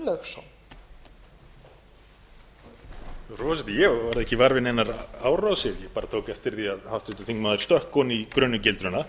frú forseti ég varð ekki var við neinar árásir bara tók eftir því að háttvirtur þingmaður stökk ofan í grunnu gildruna